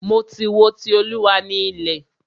Mo ti wo "Ti Olúwa ni ilẹ̀".